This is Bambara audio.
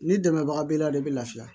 Ni dɛmɛbaga b'i la de bɛ lafiya